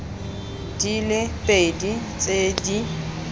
di le pedi tse di